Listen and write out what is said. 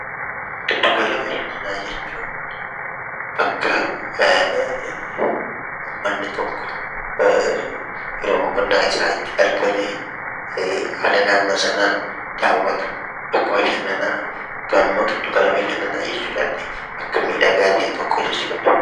Giddu gala bashannanaa jechuun bakka ummanni tokko yeroo boqonnaa isaa itti argamee haala naannoo sanaa daawwatu, bakka bashannanaa yookaan immoo giddu gala bashannanaa jechuu dandeenya. Bakka miidhagaa ta'e tokko jechuu dha.